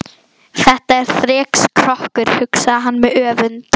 Þetta er þrekskrokkur, hugsaði hann með öfund.